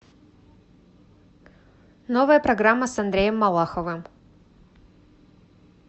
новая программа с андреем малаховым